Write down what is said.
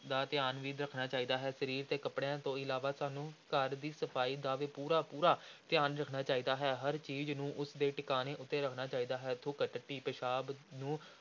ਦਾ ਧਿਆਨ ਵੀ ਰੱਖਣਾ ਚਾਹੀਦਾ ਹੈ, ਸਰੀਰ ਦੇ ਕੱਪੜਿਆਂ ਤੋਂ ਇਲਾਵਾ ਸਾਨੂੰ ਘਰ ਦੀ ਸਫ਼ਾਈ ਦਾ ਵੀ ਪੂਰਾ ਪੂਰਾ ਧਿਆਨ ਰੱਖਣਾ ਚਾਹੀਦਾ ਹੈ, ਹਰ ਚੀਜ਼ ਨੂੰ ਉਸ ਦੇ ਟਿਕਾਣੇ ਉੱਤੇ ਰੱਖਣਾ ਚਾਹੀਦਾ ਹੈ, ਥੁੱਕ, ਟੱਟੀ, ਪਿਸ਼ਾਬ ਨੂੰ